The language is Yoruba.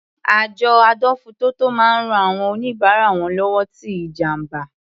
Àjọ adójútòfò máa ń rán àwọn oníbárà wọn lọ́wọ́ tí ìjàǹbá.